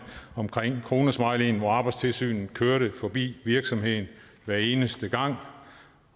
omkring kronesmileyen hvor arbejdstilsynet kørte forbi virksomheden hver eneste gang